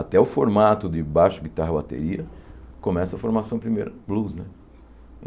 Até o formato de baixo, guitarra, bateria, começa a formação primeiro, blues, né?